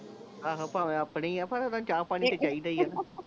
ਆਹੋ ਭਾਵੇਂ ਆਪਣੇ ਹੀ ਆ ਪਰ ਓਹਨਾਂ ਨੂੰ ਨੂੰ ਚਾਹ ਪਾਣੀ ਤੇ ਚਾਹੀਦਾ ਹੀ ਆ